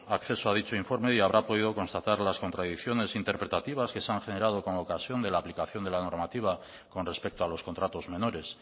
acceso a dicho informe y habrá podido constatar las contradicciones interpretativas que se han generado con ocasión de la aplicación de la normativa con respecto a los contratos menores